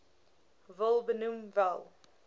wil benoem wel